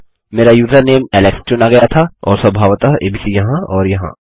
मेरा username Alex चुना गया था और स्वभावतः एबीसी यहाँ और यहाँ